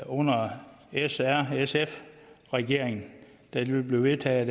under s r sf regeringen det blev vedtaget